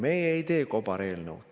Meie ei tee kobareelnõu.